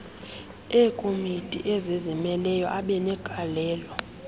eekomiti ezizimeleyo abenegalelo